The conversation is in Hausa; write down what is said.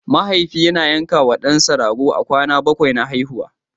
Mahaifi yana yankawa ɗansa rago a kwana na bakwai a haihuwarsa.